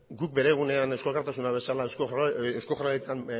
guk bere egunean eusko alkartasuna bezala eusko jaurlaritzan